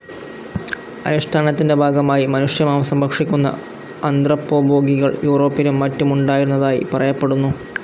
അനുഷ്ടാനത്തിൻ്റെ ഭാഗമായി മനുഷ്യമാംസം ഭക്ഷിക്കുന്ന അന്ത്രപ്പോഭോഗികൾ യൂറോപ്പിലും മറ്റുമുണ്ടായിരുന്നതായി പറയപ്പെടുന്നു.